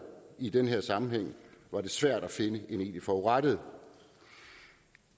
i den sammenhæng svært at finde en egentlig forurettet